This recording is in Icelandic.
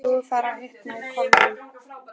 Nú er farið að hitna í kolunum.